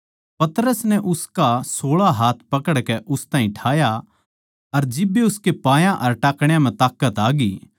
पतरस नै उसका सोळा हाथ पकड़कै उस ताहीं ठाया अर जिब्बे उसके पायां अर टाखणयां म्ह ताकत आग्यी